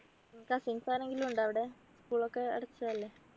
cousins ആരെങ്കിലും ഉണ്ടോ അവിടെ school ഒക്കെ അടച്ചതല്ലേ